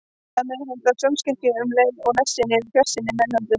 Hægt er að meðhöndla sjónskekkju um leið og nærsýnin eða fjarsýnin er meðhöndluð.